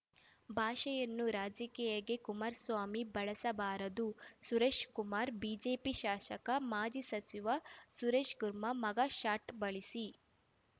ಬಾಷೆಯನ್ನು ರಾಜಕೀಯಕ್ಕೆ ಕುಮಾರಸ್ವಾಮಿ ಬಳಸಬಾರದು ಸುರೇಶಕುಮಾರ್ ಬಿಜೆಪಿ ಶಾಸಕ ಮಾಜಿ ಸಚಿವ ಸುರೇಶ್‌ಕುರ್ಮ ಮಗ್‌ಶಾಟ್‌ ಬಳಸಿ